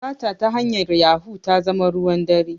Sata ta hanyar yahu ta zama ruwan dare